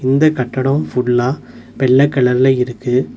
இந்த கட்டடோ ஃபுல்லா வெள்ள கலர்ல இருக்கு.